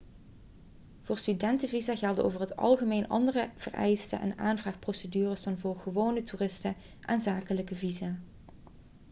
voor studentenvisa gelden over het algemeen andere vereisten en aanvraagprocedures dan voor gewone toeristen en zakelijke visa